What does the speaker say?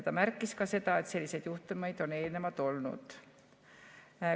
Ta märkis ka seda, et selliseid juhtumeid on eelnevalt olnud.